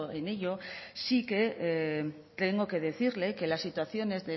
en ello sí que tengo que decirle que la situaciones